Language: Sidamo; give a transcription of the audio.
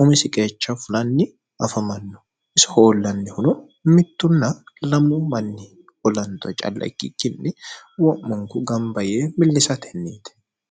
umisi qeecha fulanni afamanno isi hoollannihuno mittunna lammu manni olanxo calla ikkikkinni wo'monku gamba yee millisatenniite